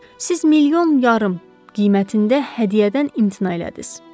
Siz milyon yarım qiymətində hədiyyədən imtina elədiniz.